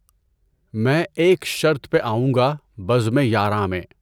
میں ایک شرط پہ آوٗں گا بزمِ یاراں میں